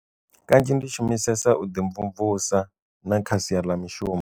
Kanzhi ndi shumisesa u ḓi mvumvusa na kha sia la mishumo.